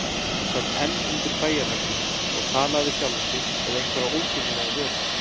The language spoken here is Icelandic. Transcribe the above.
Hún sat enn undir bæjarveggnum og talaði við sjálfa sig eða einhverja ósýnilega veru.